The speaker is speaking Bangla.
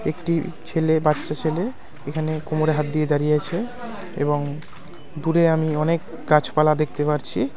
একটি ছেলে বাচ্চা ছেলে এখানে কোমড়ে হাত দিয়ে দাঁড়িয়ে আছে এবং দূরে আমি অনেক গাছপালা দেখতে পারছি।